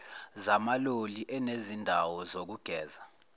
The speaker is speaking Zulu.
zamaloli ezinezindawo zokugeza